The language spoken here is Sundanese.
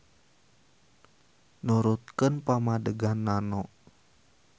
Nurutkeun pamadegan Nano.